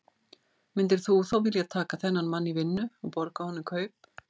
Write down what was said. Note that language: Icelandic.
Myndir þú þá vilja taka þennan mann í vinnu og borga honum kaup?